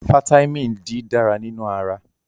Fataímìn D dára nínú ara.